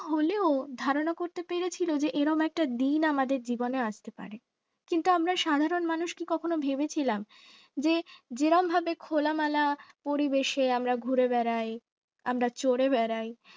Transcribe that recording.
হলেও ধারণা করতে পেরেছিলে যে এরকম একটা দিন আমাদের জীবনে আসতে পারে কিন্তু আমরা সাধারণ মানুষ কখনো ভেবেছিলাম যে যেরকম ভাবে খোলামেলা পরিবেশে আমরা ঘুরে বেড়াই আমরা চড়ে বেড়ায়